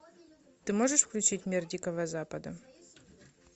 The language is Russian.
ты можешь включить мир дикого запада